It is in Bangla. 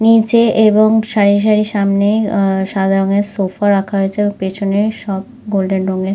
নিচে এবং সারি সারি সামনে আ সাদা রঙের সোফা রাখা রয়েছে এবং পিছনে সব গোল্ডেন রঙের--